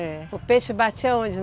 É. O peixe batia?